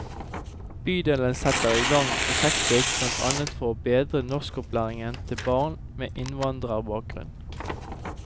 Bydelen setter i gang prosjektet blant annet for å bedre norskopplæringen til barn med innvandrerbakgrunn.